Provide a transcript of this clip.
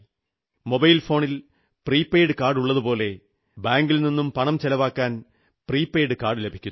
mobile ഫോണിൽ prepaid കാർഡുള്ളതുപോലെ ബാങ്കിൽനിന്നും പണം ചെലവാക്കാൻ പ്രീപെയ്ഡ് കാർഡു ലഭിക്കുന്നു